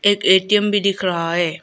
एक ए_टी_म भी दिख रहा है।